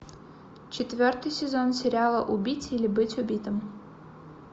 четвертый сезон сериала убить или быть убитым